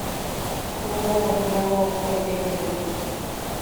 ооо диалог поехали